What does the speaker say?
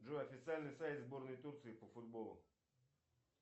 джой официальный сайт сборной турции по футболу